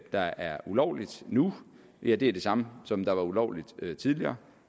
der er ulovligt nu ja det er det samme som var ulovligt tidligere